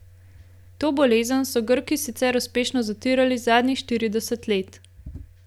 To bolezen so Grki sicer uspešno zatirali zadnjih štirideset let.